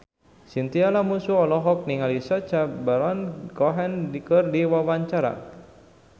Chintya Lamusu olohok ningali Sacha Baron Cohen keur diwawancara